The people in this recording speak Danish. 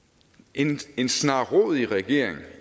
en en snarrådig regering